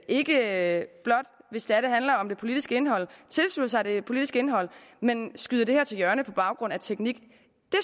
ikke blot hvis det er det handler om det politiske indhold tilslutter sig det politiske indhold men skyder det til hjørne på baggrund af teknik det